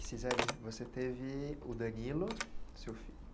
E, Ciseli, você teve o Danilo, seu fi